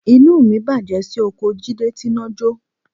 Inú mi bàjẹ́ sí oko Jídé tíná jọ́